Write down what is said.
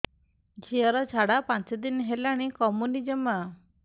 ଝିଅର ଝାଡା ପାଞ୍ଚ ଦିନ ହେଲାଣି କମୁନି ଜମା